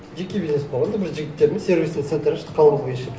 жеке бизнес болғанда бір жігіттермен сервисный центр аштық қала бойынша